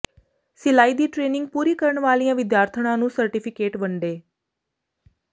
ਸਿਲਾਈ ਦੀ ਟ੍ਰੇਨਿੰਗ ਪੂਰੀ ਕਰਨ ਵਾਲੀਆਂ ਵਿਦਿਆਰਥਣਾਂ ਨੂੰ ਸਰਟੀਫਿਕੇਟ ਵੰਡੇ